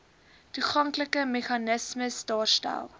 toeganklike meganismes daarstel